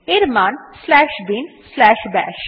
এর মান slash bin slash বাশ